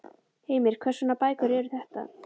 Heimir: Hvers konar bækur eru þetta?